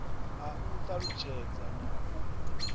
a u talutshedza na u